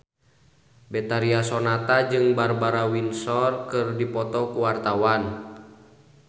Betharia Sonata jeung Barbara Windsor keur dipoto ku wartawan